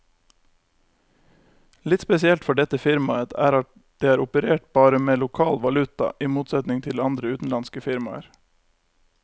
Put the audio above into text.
Litt spesielt for dette firmaet er at det har operert bare med lokal valuta, i motsetning til andre utenlandske firmaer.